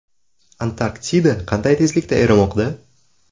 Antarktida qanday tezlikda erimoqda?.